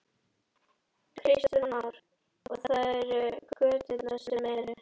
Kristján Már: Og það eru göturnar sem eru?